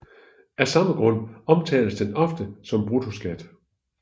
Af samme grund omtales den ofte som bruttoskat